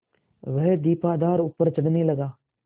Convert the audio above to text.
वह दीपाधार ऊपर चढ़ने लगा